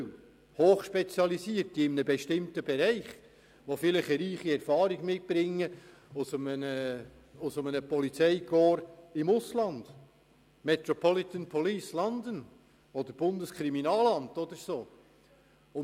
Es handelt sich um Spezialisten in spezifischen Bereichen, welche beispielsweise eine reiche Erfahrung aus einem Polizeikorps aus dem Ausland wie der Metropolitan Police London oder auch dem Bundeskriminalamt mitbringen.